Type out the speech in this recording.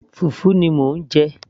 fùfú ni mò ń jẹ